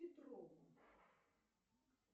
петрову